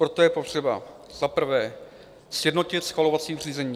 Proto je potřeba za prvé sjednotit schvalovací řízení.